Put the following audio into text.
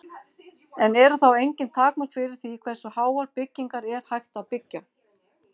En eru þá engin takmörk fyrir því hversu háar byggingar er hægt að byggja?